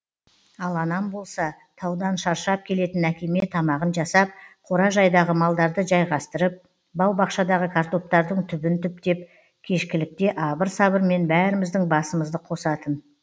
ал анам болса таудан шаршап келетін әкеме тамағын жасап қора жайдағы малдарды жайғастырып бау бақшадағы картоптардың түбін түптеп кешкілікте абыр сабырмен бәріміздің басымызды қосатын